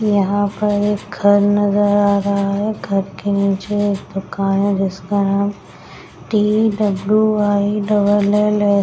यहाँ पर एक घर नजर आ रहा है घर के नीचे एक दुकान है जिसका नाम T W I double L S --